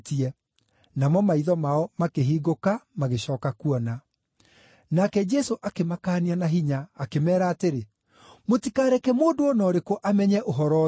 namo maitho mao makĩhingũka magĩcooka kuona. Nake Jesũ akĩmakaania na hinya, akĩmeera atĩrĩ, “Mũtikareke mũndũ o na ũrĩkũ amenye ũhoro ũyũ.”